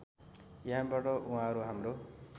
यसबाट उहाँहरू हाम्रो